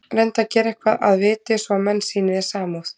Reyndu að gera eitthvað að viti, svo menn sýni þér samúð.